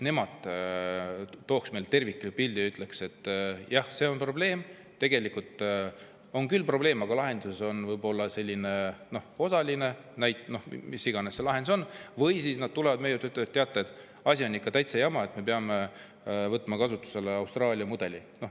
Nemad peaksid looma meile tervikliku pildi ja ütlema, et jah, see on probleem, või et tegelikult see on küll probleem, aga lahendus on võib-olla osaline, mis iganes see lahendus on, või siis nad peaksid tulema meie juurde ja ütlema, et teate, asi on ikka täitsa jama, me peame võtma kasutusele Austraalia mudeli.